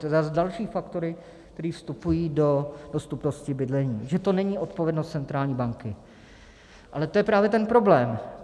To jsou zas další faktory, které vstupují do dostupnosti bydlení, že to není odpovědnost centrální banky, ale to je právě ten problém.